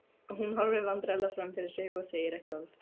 Hún horfir vandræðalega fram fyrir sig og segir ekki orð.